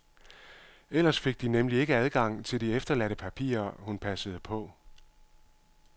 Ellers fik de nemlig ikke adgang til de efterladte papirer, hun passede på.